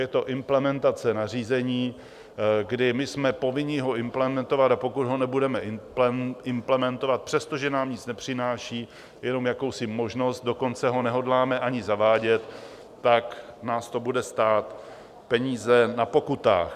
Je to implementace nařízení, kdy my jsme povinni ho implementovat, a pokud ho nebudeme implementovat, přestože nám nic nepřináší - jenom jakousi možnost, dokonce ho nehodláme ani zavádět - tak nás to bude stát peníze na pokutách.